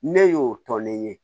Ne y'o tɔ ne ye